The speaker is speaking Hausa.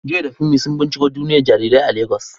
Joy da Funmi sun binciko duniyar jarirai a Legas.